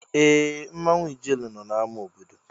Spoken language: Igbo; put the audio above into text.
Ee! Mmanwụ ijele nọ n'amá obodo.